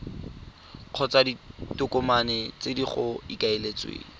kgotsa ditokomane tse go ikaeletsweng